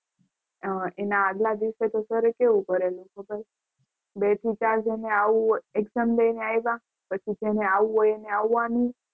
અમ એના આગલા દિવસે સારી કેવું કરેલું ખબર. બેથી ચાર જેને આવું હોય exam દઈને આવ્યા પછી જેને આવું હોય એને આવવાનું.